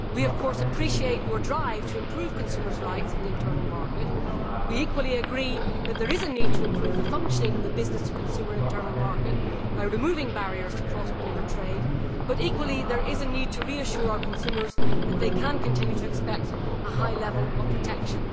We appreciate the drive to improve consumers' rights in the internal market. We also agree that there is a need to improve the functioning of the business to consumer internal market by removing barriers to cross border trade, but there is also a need to reassure our consumers that they can continue to expect a high level of protection.